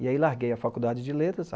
E, aí, larguei a Faculdade de Letras.